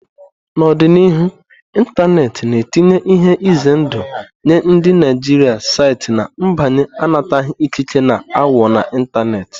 N'ọdịnihu, ịntanetị na-etinye ihe ize ndụ nye ndị Naijiria site na mbanye anataghị ikike na aghụghọ n'ịntanetị,.